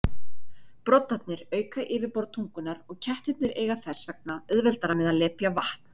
Broddarnir auka yfirborð tungunnar og kettirnir eiga þess vegna auðveldara með að lepja vatn.